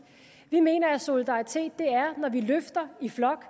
vi mener at solidaritet er når vi løfter i flok